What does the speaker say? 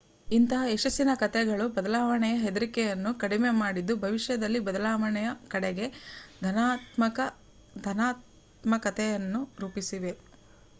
ಇಂತಹ ಯಶಸ್ಸಿನ ಕಥೆಗಳು ಬದಲಾವಣೆಯ ಹೆದರಿಕೆಯನ್ನು ಕಡಿಮೆ ಮಾಡಿದ್ದು ಭವಿಷ್ಯದಲ್ಲಿ ಬದಲಾವಣೆಯ ಕಡೆಗೆ ಧನಾತ್ಮಕತೆಯನ್ನು ರೂಪಿಸಿವೆ